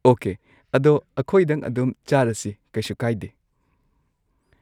okay ꯑꯗꯣ ꯑꯩꯈꯣꯏꯗꯪ ꯑꯗꯨꯝ ꯆꯥꯔꯁꯤ ꯀꯩꯁꯨ ꯀꯥꯏꯗꯦ